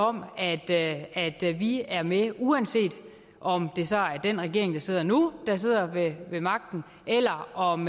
om at vi er med uanset om det så er den regering der sidder nu der sidder ved magten eller om